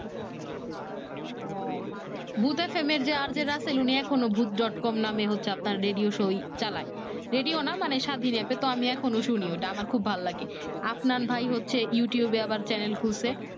হ্যাঁ ভুত FM এর যে RJ রাসেল এখনও ভুত dot com নামে হচ্ছে আপনার রেডিও show চালায় রেডিও না মানে স্বাধীন এপে তো আমি এখন ও শুনি আমার খুব ভালো লাগে আফনান ভাই হচ্ছে ইউটিউব আবার চ্যানেল খুলছে